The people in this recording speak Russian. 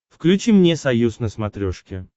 включи мне союз на смотрешке